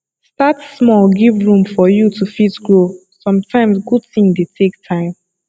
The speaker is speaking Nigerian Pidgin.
start small give room for you to fit grow sometimes good thing dey take time